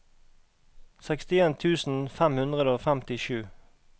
sekstien tusen fem hundre og femtisju